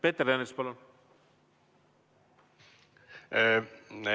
Peeter Ernits, palun!